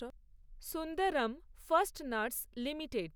Sundaram fasteners limited